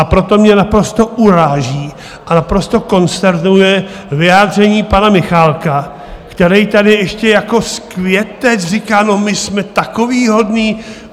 A proto mě naprosto uráží a naprosto konsternuje vyjádření pana Michálka, který tady ještě jako světec říká: No, my jsme takový hodný.